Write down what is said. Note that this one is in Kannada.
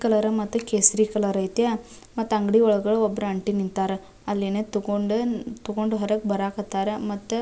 ಕಲರ್ ಮತ್ತೆ ಕೇಸರಿ ಕಲರ್ ಐತಿ ಮತ್ತೆ ಅಂಗಡಿ ಒಳಗ ಒಂದ್ ಆಂಟಿ ನಿಂತರೆ ಅಲ್ಲಿ ಏನೋ ತಗೊಂಡು ಹೊರಗ್ ಬರಾಕ್ ಹತ್ತರ ಮತ್ತೆ --